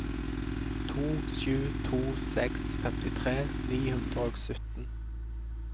to sju to seks femtitre ni hundre og sytten